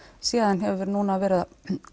síðan hefur núna verið að